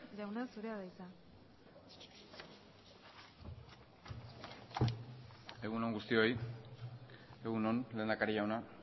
jauna zurea da hitza egun on guztioi egun on lehendakari jauna